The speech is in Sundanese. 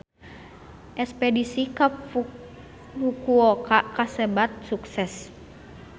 Espedisi ka Fukuoka kasebat sukses